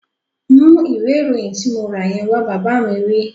Mú ìwé ìròyìn tí mo rà yẹn wá! Bàbá mi wí